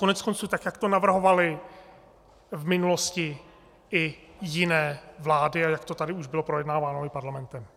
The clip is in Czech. Koneckonců tak jak to navrhovaly v minulosti i jiné vlády a jak to tady už bylo projednáváno i parlamentem.